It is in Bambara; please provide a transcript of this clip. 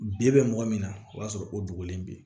Bi bɛ mɔgɔ min na o b'a sɔrɔ o dogolen bɛ yen